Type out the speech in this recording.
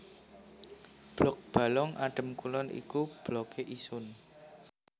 Blok Balong Adem Kulon iku Blokke Isun